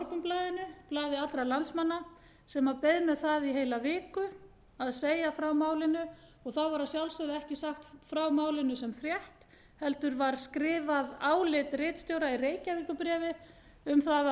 sjálfsögðu morgunblaðinu blaði allra landsmanna sem beið með það í heila viku að segja frá málinu og þá var að sjálfsögðu ekki sagt frá málinu sem frétt heldur var skrifað álit ritstjóra í reykjavíkurbréfi um það